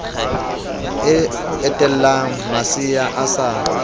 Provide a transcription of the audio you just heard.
e etelang masea a sa